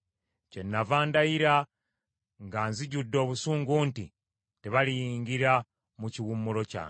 Kyennava ndayira nga nsunguwadde nti, ‘Tebaliyingira mu kiwummulo kyange.’ ”